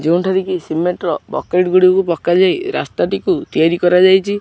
ଯେଉଁଠାରେ କି ସିମେଣ୍ଟ ର ବକେଟ୍ ଗୁଡ଼ିକୁ ପକାଯାଇ ରାସ୍ତାଟିକୁ ତିଆରି କରାଯାଇଚି।